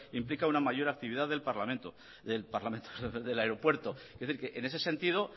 implica una mayor actividad del aeropuerto es decir en ese sentido